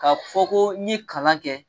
Ka fɔ ko n ɲe kalan kɛ